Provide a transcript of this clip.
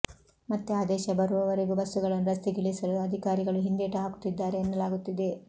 ಮತ್ತೆ ಅದೇಶ ಬರೋವರೆಗೂ ಬಸ್ಸುಗಳನ್ನು ರಸ್ತೆಗಿಳಿಸಲು ಅಧಿಕಾರಿಗಳು ಹಿಂದೇಟು ಹಾಕುತ್ತಿದ್ದಾರೆ ಎನ್ನಲಾಗುತ್ತಿದೆ